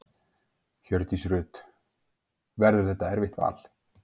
Hjördís Rut: Verður þetta erfitt val?